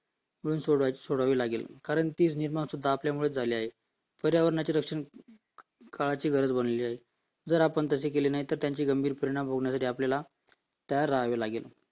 सोडवावी लागेल कारण ती समस्या आपल्यामुळेच निर्माण झालेली आहे पर्यावरणाचे रक्षण काळाची गरज बनलेली आहे जर आपण तसे केले नाही तर त्याचे गंभीर परिणाम बघण्यासाठी आपण तयार राहावे लागेल